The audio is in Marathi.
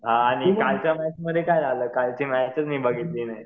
हां आणि कालच्या मॅचमध्ये काय झालं? कालची मॅच मी बघितली नाही.